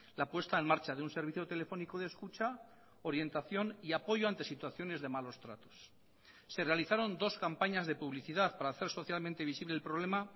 la puesta en marcha de un servicio telefónico de escucha orientación y apoyo ante situaciones de malos tratos se realizaron dos campañas de publicidad para hacer socialmente visible el problema